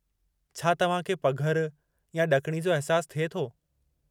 छा तव्हां खे पघर या ॾकिणी जो अहिसासु थिए थो?